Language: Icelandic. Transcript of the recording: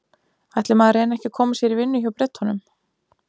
Ætli maður reyni ekki að koma sér í vinnu hjá Bretunum.